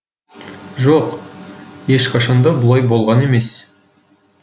жоқ ешқашанда бұлай болған емес